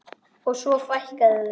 Og svo fækkaði þeim.